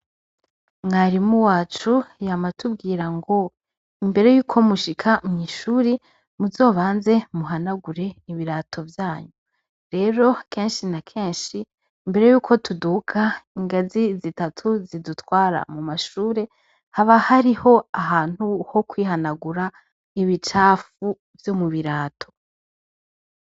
Mwarimu wacu yama atubwirango imbere yuko mushika mw'ishuri muzobanze muhanagure ibirato vyanyu, rero kenshi na kenshi mbere yuko tuduga ingazi zitatu zidutwara mu mashure haba hariho ahantu hokwihanagura ibicafu vyo mu birato.